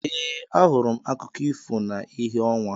Ee ahụrụ m akụkọ ifo na ìhè ọnwa.